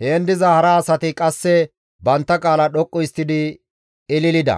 heen diza hara asati qasse bantta qaala dhoqqu histtidi ililida.